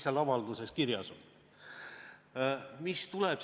Siin tõstatati küsimus nafta hinna kohta, öeldi, et me ei tea, milliseks see muutub.